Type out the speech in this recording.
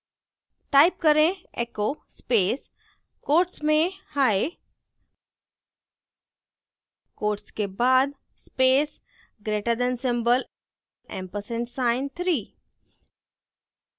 type करें: echo space quotes में hi quotes के बाद space greater than symbol ampersand sign 3